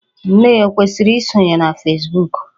Nne ya ọ kwesiri isonye na Fesbuku?